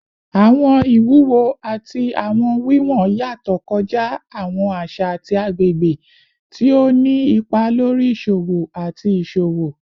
Awọn iwuwo ati awọn wiwọn yatọ kọja awọn aṣa ati agbegbe, ti o ni ipa lori iṣowo ati iṣowo